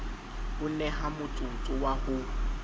o neha motsotso wa ho